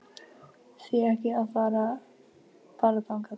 Því ekki að fara bara þangað?